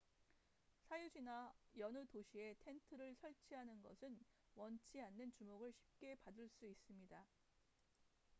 사유지나 여느 도시에 텐트를 설치하는 것은 원치 않는 주목을 쉽게 받을 수 있습니다